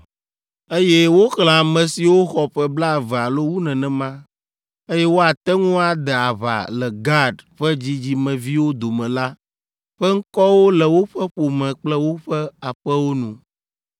Eye woxlẽ ame siwo xɔ ƒe blaeve alo wu nenema, eye woate ŋu ade aʋa le Gad ƒe dzidzimeviwo dome la ƒe ŋkɔwo le woƒe ƒome kple woƒe aƒewo nu.